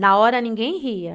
Na hora, ninguém ria.